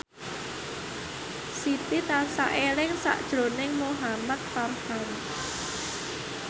Siti tansah eling sakjroning Muhamad Farhan